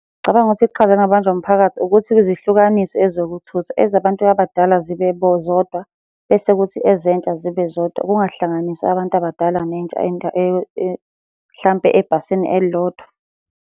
Ngicabanga ukuthi iqhaza elingabanjwa umphakathi ukuthi uzihlukanise ezokuthutha. Ezabantu abadala zibe zodwa, bese kuthi ezentsha zibe zodwa, kungahlanganiswa abantu abadala nentsha mhlampe ebhasini elilodwa.